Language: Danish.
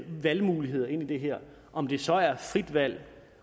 valgmuligheder ind i det her om det så er frit valg